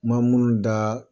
N man da